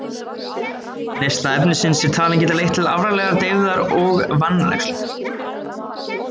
Neysla efnisins er talin geta leitt til alvarlegrar deyfðar og vanrækslu.